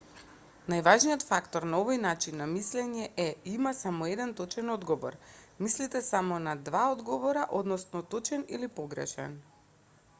најважниот фактор на овој начин на мислење е има само еден точен одговор мислите само на два одговора односно точен или погрешен